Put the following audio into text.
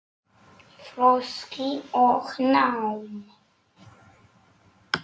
Þroski og nám